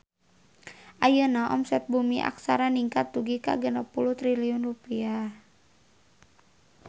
Ayeuna omset Bumi Aksara ningkat dugi ka 60 triliun rupiah